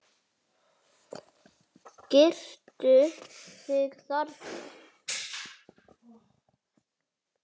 Girtu þig, þarna!